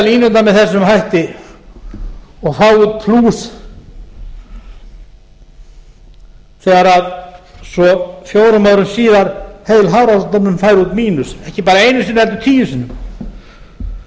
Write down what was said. línurnar með þessum hætti og fá út plús þegar svo fjórum árum síðar hefur hafrannsóknastofnun fengið út mínus ekki einu sinni heldur tíu sinnum staðreyndin